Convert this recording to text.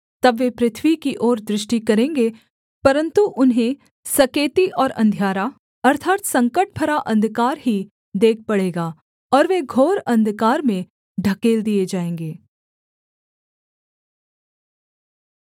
तब वे पृथ्वी की ओर दृष्टि करेंगे परन्तु उन्हें सकेती और अंधियारा अर्थात् संकट भरा अंधकार ही देख पड़ेगा और वे घोर अंधकार में ढकेल दिए जाएँगे